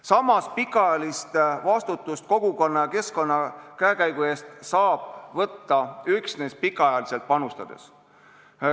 Samas, pikaajalist vastutust kogukonna ja keskkonna käekäigu eest saab võtta üksnes pikaajaliselt panustades.